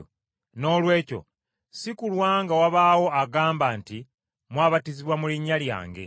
Noolwekyo si kulwa nga wabaawo agamba nti mwabatizibwa mu linnya lyange.